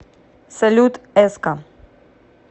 салют эска